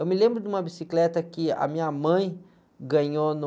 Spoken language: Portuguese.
Eu me lembro de uma bicicleta que a minha mãe ganhou no...